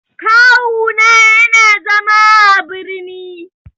Kawu na yana zama a birni.